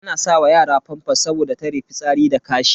Ana sa wa yara famfas saboda tare fitsari da kashi.